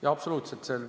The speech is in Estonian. Jaa, absoluutselt.